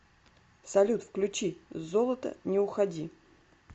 салют включи золото не уходи